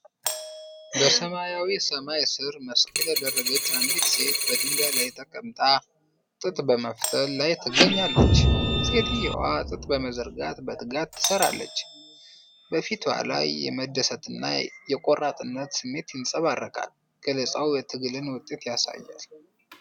በሰማያዊ ሰማይ ስር፣ መስቀል ያደረገች አንዲት ሴት በድንጋይ ላይ ተቀምጣ ጥጥ በመፍተል ላይ ትገኛለች። ሴትየዋ ጥጥ በመዘርጋት በትጋት ትሰራለች፤ በፊቷ ላይ የመደሰትና የቆራጥነት ስሜት ተንፀባርቋል። ገለጻው የትግልን ውጤት ያሳያል።